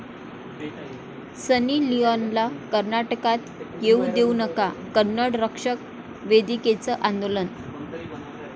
सनी लिओनला कर्नाटकात येऊ देऊ नका, कन्नड रक्षण वेदिकेचं आंदोलन